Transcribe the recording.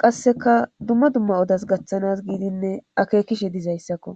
qasseka dumma dumma odas gaththanas giidinne akeekishe dizayssakko